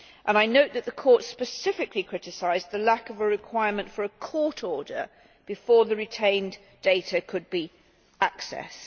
I note that the Court specifically criticised the lack of a requirement for a court order before the retained data could be accessed.